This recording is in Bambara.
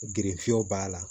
Gerenw b'a la